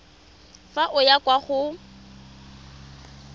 fa o ya kwa go